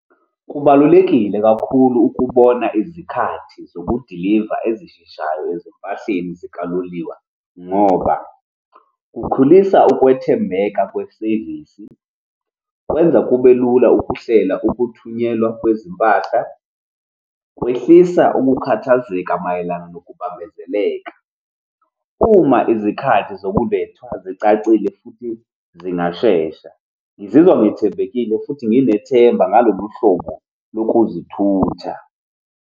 Kubalulekile kakhulu ukubona izikhathi zokudiliva ezisheshayo ezimpahleni zikaloliwe, ngoba kukhulisa ukwethembeka kwesevisi. Kwenza kube lula ukuhlela ukuthunyelwa kwezimpahla, kwehlisa ukukhathazeka mayelana nokubambezeleka. Uma izikhathi zokulethwa zicacile futhi zingashesha. Ngizizwa ngikhethekile futhi nginethemba ngalolu hlobo lokuzithutha.